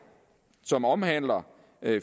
som omhandler